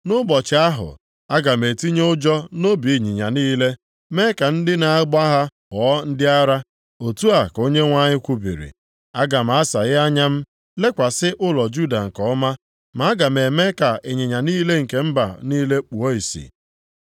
Nʼụbọchị ahụ, aga m etinye ụjọ nʼobi ịnyịnya niile, mee ka ndị na-agba ha ghọọ ndị ara,” otu a ka Onyenwe anyị kwubiri. “Aga m asaghe anya m lekwasị ụlọ Juda nke ọma, ma aga m eme ka ịnyịnya niile nke mba niile kpuo ìsì.